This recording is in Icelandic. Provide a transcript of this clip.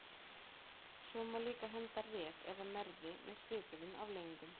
Svo má líka henda Ref eða Merði með svipuðum afleiðingum.